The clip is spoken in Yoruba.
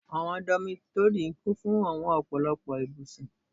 Àwọn dómítórì kún fún àwọn ọ̀pọ̀lọpọ̀ ibùsùn